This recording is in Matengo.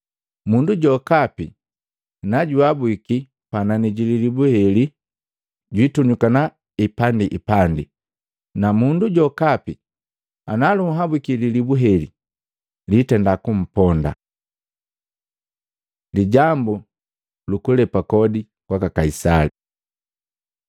Mundu jokapi najuabuki panani jililibu heli jwiitunyuka ipandiipandi, na mundu jokapi ana lunhabuki lilibu heli litenda kumponda.” Lijambu lukulepa kodi kwaka Kaisali Matei 22:15-22; Maluko 12:13-17